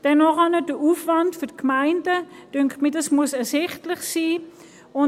Dann finde ich, dass der Aufwand für die Gemeinden ersichtlich sein muss.